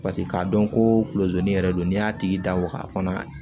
Paseke k'a dɔn kolonzonin yɛrɛ don n'i y'a tigi da waga fana